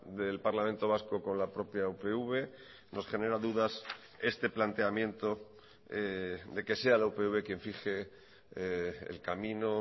del parlamento vasco con la propia upv nos genera dudas este planteamiento de que sea la upv quien fije el camino